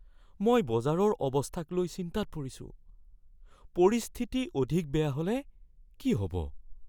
মই বজাৰৰ অৱস্থাক লৈ চিন্তাত পৰিছোঁ। পৰিস্থিতি অধিক বেয়া হ'লে কি হ'ব?